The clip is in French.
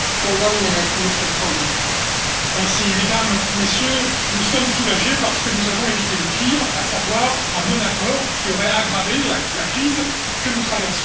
Madame la Présidente, Mesdames et Messieurs, nous sommes soulagés parce que nous avons évité le pire, à savoir un non accord qui aurait aggravé la crise que nous traversons.